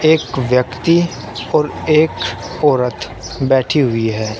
एक व्यक्ति और एक औरत बैठी हुई है।